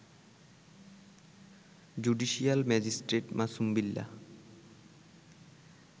judicial magistrate Masum Billah